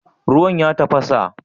Ruwan ya tafasa?